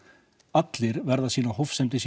allir verða að sýna hófsemd í